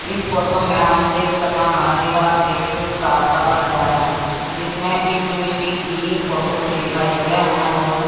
इस फोटो में हम देख सका हं दीवार पे एक स्टार सा बन गया हैं जिसमें यीशु मिशि की फोटो अच्छी दिखाई देवे हैं और--